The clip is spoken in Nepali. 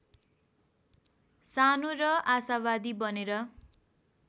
सानो र आशावादी बनेर